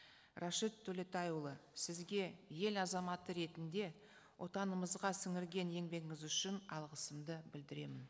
рашид төлетайұлы сізге ел азаматы ретінде отанымызға сіңірген еңбегіңіз үшін алғысымды білдіремін